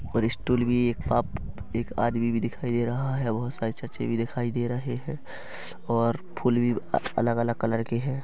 पर स्टूल भी एक पाप एक आदमी भी दिखाई दे रहा है बहोत सारे छज्जे भी दिखाई दे रहे है और फूल भी अलग-अलग कलर के है।